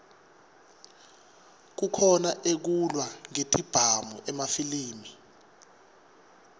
kukhona ekulwa ngetibhamu emafilimi